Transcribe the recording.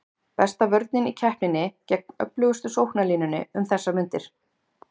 Besta vörnin í keppninni gegn öflugust sóknarlínunni um þessar mundir.